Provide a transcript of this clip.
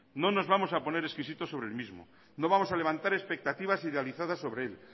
no nos vamos a poner exquisitos sobre el mismo no vamos a levantar expectativas idealizadas sobre él